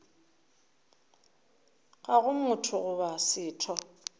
ga go motho goba setho